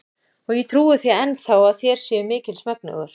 Og ég trúi því enn þá, að þér séuð mikils megnugur.